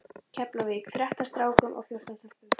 Keflavík, þrettán strákum og fjórtán stelpum.